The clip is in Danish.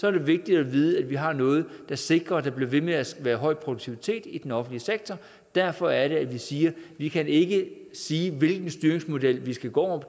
er det vigtigt at vide at vi har noget der sikrer at der bliver ved med at være høj produktivitet i den offentlige sektor derfor er det at vi siger vi kan ikke sige hvilken styringsmodel vi skal gå